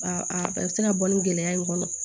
Ba a bɛ se ka bɔ ni gɛlɛya in kɔnɔ